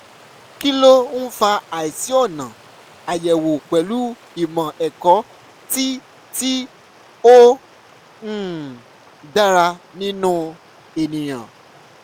kí ló ń fa àìsí ọ̀nà àyèwò pẹ̀lú ìmọ̀ ẹ̀kọ́ tí tí ó um dára nínú ènìyàn?